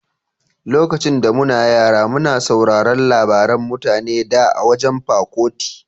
Lokacin da muna yara muna sauraron labaran mutane da a wajan Pa Kuti.